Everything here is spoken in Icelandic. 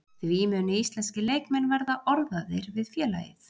Því munu íslenskir leikmenn verða orðaðir við félagið.